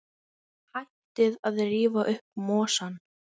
Hættið að rífa upp mosann.